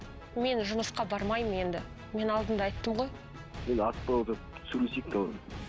мен жұмысқа бармаймын енді мен алдында айттым ғой енді асықпай отырып сөйлесейік